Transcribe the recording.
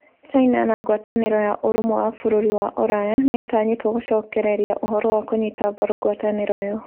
China na ngwataniro ya urumwe wa bururi wa Uraya ni itanyitwo gucokereria uhoro wa kunyita mbaru ngwataniro iyo.